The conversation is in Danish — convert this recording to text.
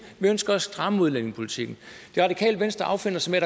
vi ønsker at stramme udlændingepolitikken det radikale venstre affinder sig med